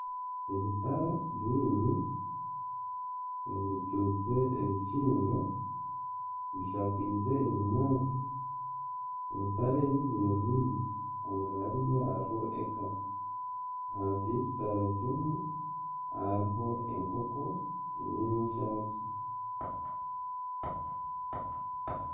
Ebitara bibiri ebirukiise ebikindo bishakiize ebinyaatsi. Ebitara ebi byirireine, hanga hariyo hariho eka. Ahansi y'ekitara kimwe hariho enkoko y'enshaaki.